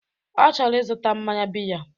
Ọ chọrọ ịzụta mmanya biya